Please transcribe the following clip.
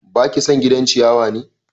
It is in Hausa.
Baki son gidan ciyawa ne?